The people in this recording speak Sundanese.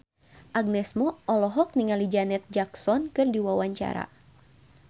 Agnes Mo olohok ningali Janet Jackson keur diwawancara